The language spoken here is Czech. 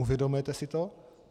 Uvědomujete si to?